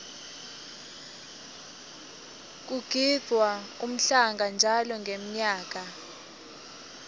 kugidvwa umhlanga njalo ngenmyaka